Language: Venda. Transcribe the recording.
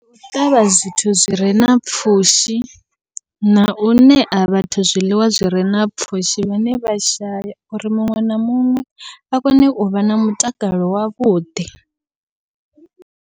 Ndi u ṱavha zwithu zwire na pfhushi, nau ṋea vhathu zwiḽiwa zwire na pfhushi vhane vha shaya uri muṅwe na muṅwe a kone uvha na mutakalo wavhuḓi.